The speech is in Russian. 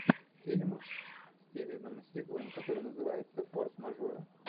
фильм с стивеном сигалом который называется форс мажоры